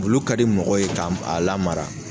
Wulu ka di mɔgɔw ye ka a lamara.